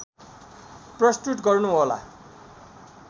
प्रस्तुत गर्नुहोला